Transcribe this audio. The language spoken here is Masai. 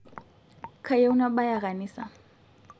kayieu nabaya kanisa